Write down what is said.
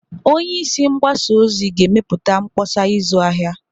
Onye isi mgbasa ozi ga-emepụta mkpọsa ịzụ ahịa.